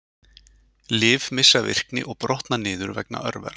lyf missa virkni og brotna niður vegna örvera